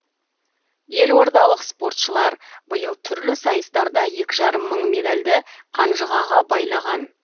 елордалық спортшылар биыл түрлі сайыстарда екі жарым мың медальды қанжығаға байлаған